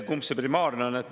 Kumb see primaarne on?